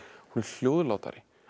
hún er hljóðlátari